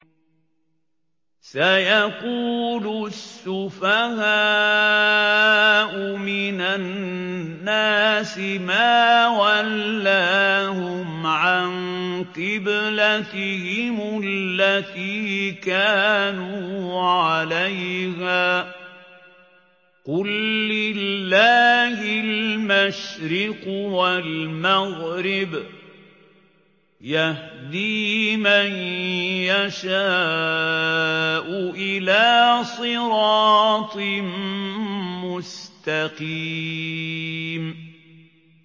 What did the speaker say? ۞ سَيَقُولُ السُّفَهَاءُ مِنَ النَّاسِ مَا وَلَّاهُمْ عَن قِبْلَتِهِمُ الَّتِي كَانُوا عَلَيْهَا ۚ قُل لِّلَّهِ الْمَشْرِقُ وَالْمَغْرِبُ ۚ يَهْدِي مَن يَشَاءُ إِلَىٰ صِرَاطٍ مُّسْتَقِيمٍ